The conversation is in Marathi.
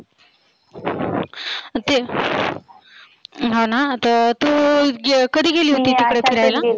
ते हा ना आता तु कधी गेली होती तिकडे फिरायला?